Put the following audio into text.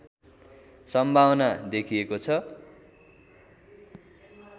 सम्भावना देखिएको छ